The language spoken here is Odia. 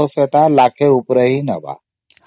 ତ ବି ପଇସା ଟା ଲକ୍ଷେ ଉପରେ ହିଁ ନବ।